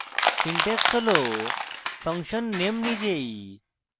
syntax হল function name নিজেই